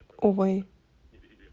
увэй